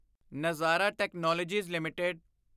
ਨਜ਼ਾਰਾ technologies LTD